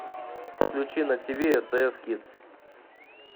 включи на тв стс кидс